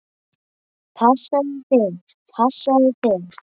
Passaðu þig, passaðu þig!